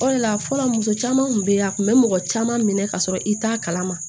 O de la fɔlɔ muso caman tun bɛ yen a tun bɛ mɔgɔ caman minɛ ka sɔrɔ i t'a kalama